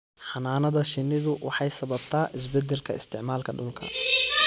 Xannaanada shinnidu waxay sababtaa isbeddelka isticmaalka dhulka.